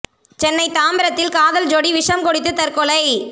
சென்னை தாம்பரத்தில் காதல் ஜோடி விஷம் குடித்து தற்கொலை